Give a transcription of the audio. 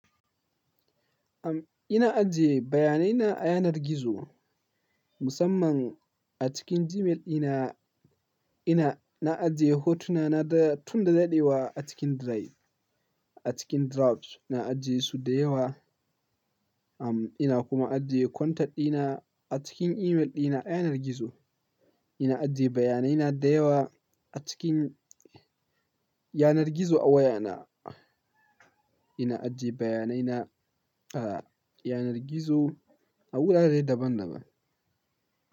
Am ina ajiye bayanai na a yanar gizo, musamman a cikin Gmail dina. Ina, na ajiye hotuna na da tun da daɗewa a cikin Drive. A cikin Drafts na ajiye su da yawa. Am ina kuma ajiye contact dina a cikin email dina a yanar gizo. Ina ajiye bayanai na da yawa a cikin yanar gizo a waya na. Ina ajiye bayanai na a yanar gizo a wurare daban-daban.